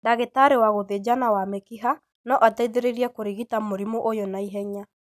Ndagĩtarĩ wa gũthĩnjana wa mĩkiha no ateithĩrĩrie kũrigita mũrimũ ũyũ na ihenya.